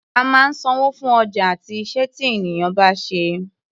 A máa ń sanwó fún ọjà àti iṣẹ́ tí ènìyàn bá ṣe.